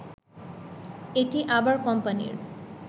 এটি আবার কোম্পানির